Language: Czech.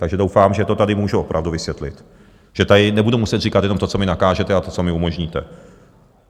Takže doufám, že to tady můžu opravdu vysvětlit, že tady nebudu muset říkat jenom to, co mi nakážete, a to, co mi umožníte.